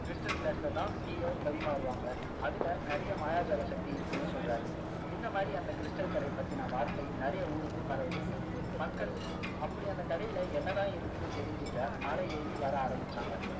stal glass ல தான் tea ய பரிமாறுவாங்க அதுல நிறைய மாயாஜால சக்தி இருக்குன்னு சொல்றாரு இந்த மாதிரி அந்த stal கடைய பத்தின வார்த்தை நிறைய ஊருக்கு பரவுது மக்கள் அப்படி அந்த கடையில என்ன தான் இருக்குன்னு தெரிஞ்சிக்க மலை ஏறி வர ஆரம்பிச்சாங்க